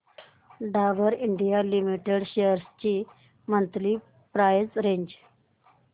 Dabur India limited shares ची monthly price range